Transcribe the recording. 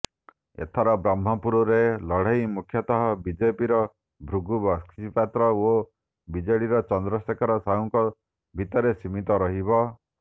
ଏଥର ବ୍ରହ୍ମପୁରରେ ଲଢ଼େଇ ମୁଖ୍ୟତଃ ବିଜେପିର ଭୃଗୁ ବକ୍ସିପାତ୍ର ଓ ବିଜେଡିର ଚନ୍ଦ୍ରଶେଖର ସାହୁଙ୍କ ଭିତରେ ସୀମିତ ରହିବ